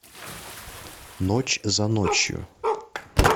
ночь за ночью